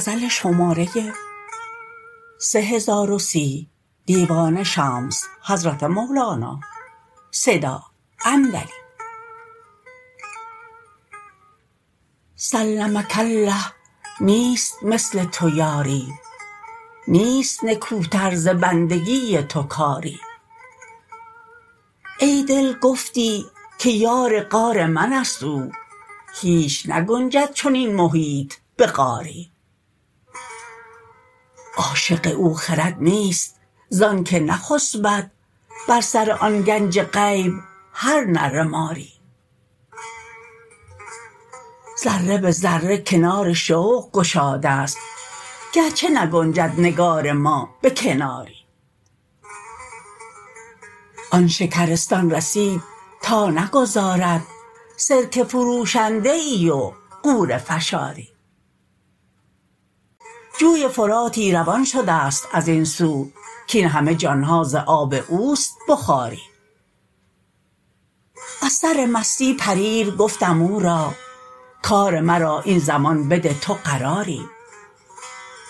سلمک الله نیست مثل تو یاری نیست نکوتر ز بندگی تو کاری ای دل گفتی که یار غار منست او هیچ نگنجد چنین محیط به غاری عاشق او خرد نیست زانک نخسبد بر سر آن گنج غیب هر نره ماری ذره به ذره کنار شوق گشادست گرچه نگنجد نگار ما به کناری آن شکرستان رسید تا نگذارد سرکه فروشنده ای و غوره فشاری جوی فراتی روان شدست از این سو کاین همه جان ها ز آب اوست بخاری از سر مستی پریر گفتم او را کار مرا این زمان بده تو قراری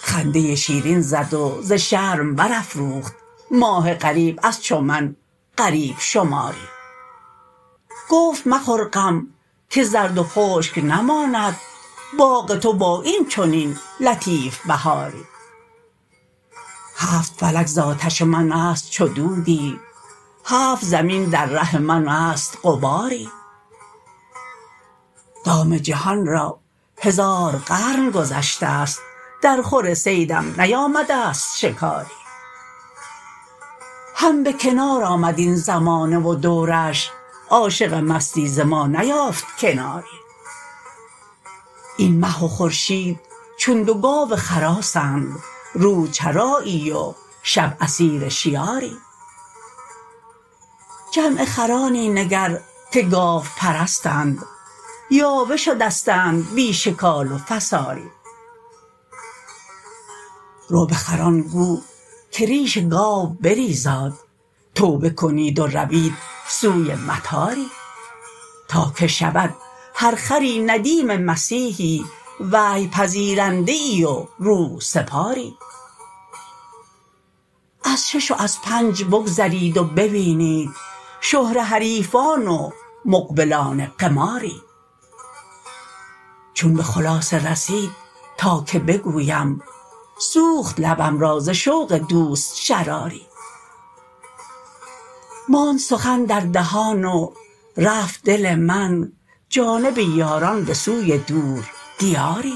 خنده شیرین زد و ز شرم برافروخت ماه غریب از چو من غریب شماری گفت مخور غم که زرد و خشک نماند باغ تو با این چنین لطیف بهاری هفت فلک ز آتش منست چو دودی هفت زمین در ره منست غباری دام جهان را هزار قرن گذشتست درخور صیدم نیامدست شکاری هم به کنار آمد این زمانه و دورش عاشق مستی ز ما نیافت کناری این مه و خورشید چون دو گاو خراسند روز چرایی و شب اسیر شیاری جمع خرانی نگر که گاوپرستند یاوه شدستند بی شکال و فساری رو به خران گو که ریش گاو بریزاد توبه کنید و روید سوی مطاری تا که شود هر خری ندیم مسیحی وحی پذیرنده ای و روح سپاری از شش و از پنج بگذرید و ببینید شهره حریفان و مقبلانه قماری چون به خلاصه رسید تا که بگویم سوخت لبم را ز شوق دوست شراری ماند سخن در دهان و رفت دل من جانب یاران به سوی دور دیاری